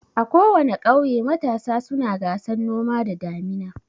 A kowana ƙauye matasa suna gasan noma da damina.